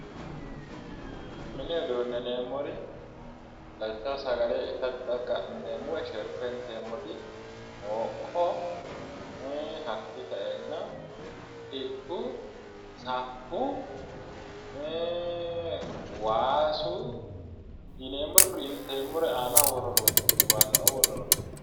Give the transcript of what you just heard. Mini uduunne yineemmori lawishshaho sagale itate xaqqa'mineemmo woy sherko mooqqo hakkii sa'eenna xiltu, saffu waasu yineemmore kuri aanaho worre horoonsi'neemmo waasaoo worre horoonsi'neemmo.